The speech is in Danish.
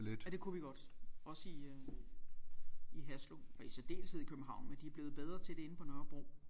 Ja det kunne vi godt også i øh i Haslev og i særdeleshed i København men de er blevet bedre til det inde på Nørrebro